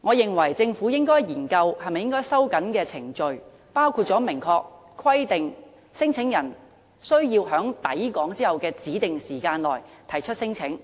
我認為政府應該研究是否收緊程序，包括明確規定聲請人須在抵港後的指定時間內提出聲請，